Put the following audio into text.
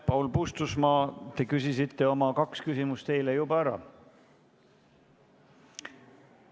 Paul Puustusmaa, te küsisite oma kaks küsimust juba eile ära.